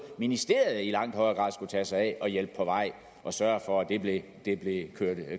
ministeriet i langt højere grad skulle tage sig af og hjælpe på vej at sørge for at det blev